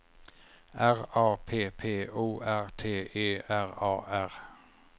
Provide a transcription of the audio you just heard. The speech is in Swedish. R A P P O R T E R A R